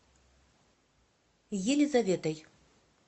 елизаветой